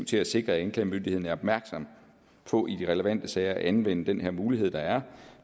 til at sikre at anklagemyndigheden er opmærksom på i de relevante sager at anvende den her mulighed der er